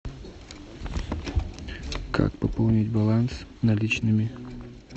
как пополнить баланс наличными